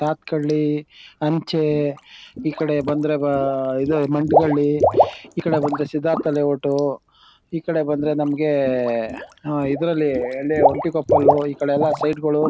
ಸಾತ್ಕಳ್ಳಿ ಅಂಚೆ ಈ ಕಡೆ ಬಂದ್ರೆ ಮ ಇದು ಮಂಟಗಳ್ಳಿ ಈ ಕಡೆ ಬಂದ್ರೆ ಸಿದ್ದಾರ್ಥ ಲೇ ಔಟ್ ಈ ಕಡೆ ಬಂದ್ರೆ ನಮಗೆ ಆ ಇದ್ರಲ್ಲಿ ಎಳ್ಳೆ ಒಂಟಿಕೊಪ್ಪಲು ಈ ಕಡೆ ಎಲ್ಲ ಸೈಟ್ ಗಳು.